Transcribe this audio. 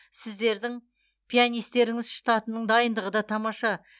сіздердің пианистеріңіз штатының дайындығы да тамаша